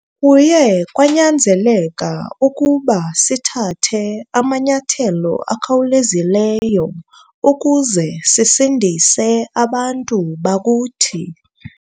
Kuye kwanyanzeleka ukuba sithathe amanyathelo akhawulezileyo ukuze sisindise abantu bakuthi.